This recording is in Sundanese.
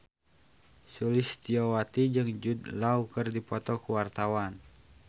Sulistyowati jeung Jude Law keur dipoto ku wartawan